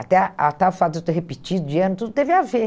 Até a até o fato de eu ter repetido de ano, tudo teve a ver.